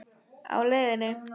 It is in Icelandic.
Á leiðinni?